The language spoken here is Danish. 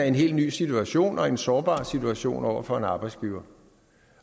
en helt ny situation og en sårbar situation over for en arbejdsgiver